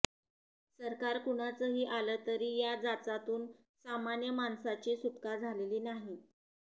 सरकार कुणाचंही आलं तरी या जाचातून सामान्य माणसाची सुटका झालेली नाही